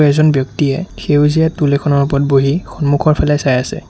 এজন ব্যক্তিয়ে সেউজীয়া টোল এখনৰ ওপৰত বহি সন্মুখৰ পিনে চাই আছে।